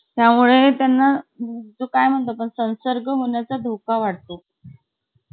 त्यामुळे त्यांला के म्हणतो आपण संसर्गहोण्याचा धोका वाढतो